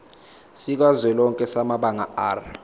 sikazwelonke samabanga r